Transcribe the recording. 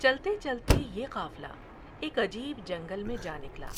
چلتے چلتے یہ قافلہ ایک عجیب جنگل میں جانکلا ۔